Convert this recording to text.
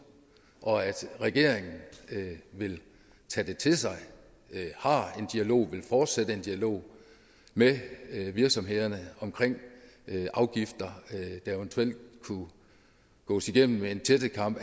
og regeringen vil tage det til sig og har en dialog og vil fortsætte en dialog med virksomhederne omkring afgifter der eventuelt kunne gås igennem med en tættekam